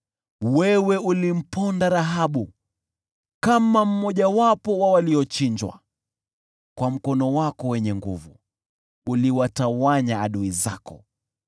Wewe ulimponda Rahabu kama mmojawapo wa waliochinjwa; kwa mkono wako wenye nguvu, uliwatawanya adui zako.